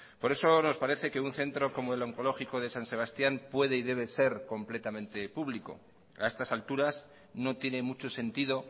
por eso nos parece que un centro como el oncológico de san sebastián puede y debe ser completamente público a estas alturas no tiene mucho sentido